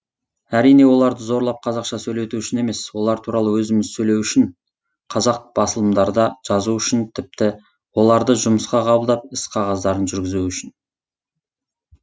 әрине оларды зорлап қазақша сөйлету үшін емес олар туралы өзіміз сөйлеу үшін қазақ басылымдарда жазу үшін тіпті оларды жұмысқа қабылдап іс қағаздарын жүргізу үшін